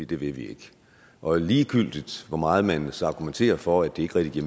det vil vi ikke og ligegyldigt hvor meget man så argumenterer for at det ikke rigtig